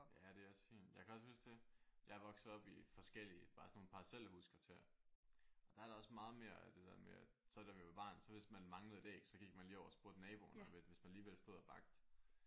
Ja det er også fint. Jeg kan også huske det jeg er vokset op i forskellige bare sådan nogle parcelhuskvarterer og der er der også meget mere af det der med at så da vi var barn så hvis man manglede et æg så gik man lige over og spurgte naboen om et hvis man alligevel stod og bagte